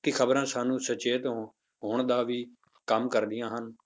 ਕਿ ਖ਼ਬਰਾਂ ਸਾਨੂੰ ਸੁਚੇਤ ਹੋਣ ਦਾ ਵੀ ਕੰਮ ਕਰਦੀਆਂ ਹਨ।